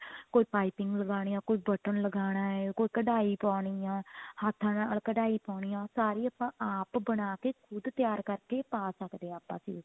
ਕੋਈ ਪਾਈਪਿਨ ਲਗਾਣੀ ਹੈ ਕੋਈ button ਲਗਾਣ ਹੈ ਕੋਈ ਕਢਾਈ ਪਾਉਣੀ ਹੈ ਹੱਥਾਂ ਨਾਲ ਕਢਾਈ ਪਾਉਣੀ ਹੈ ਸਾਰੀ ਆਪਾਂ ਆਪ ਬਣਾਕੇ ਖ਼ੁਦ ਤਿਆਰ ਕਰਕੇ ਪਾ ਸਕਦੇ ਹਾਂ ਆਪਾਂ suit